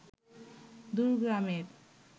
দূর গ্রামের